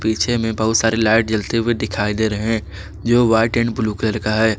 पीछे में बहुत सारी लाइट जलते हुए दिखाई दे रहे जो वाइट एंड ब्लू कलर का है।